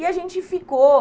E a gente ficou.